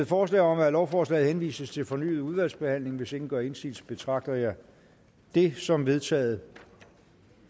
forslag om at lovforslaget henvises til fornyet udvalgsbehandling hvis ingen gør indsigelse betragter jeg det som vedtaget